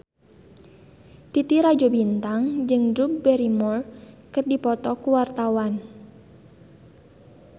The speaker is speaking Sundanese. Titi Rajo Bintang jeung Drew Barrymore keur dipoto ku wartawan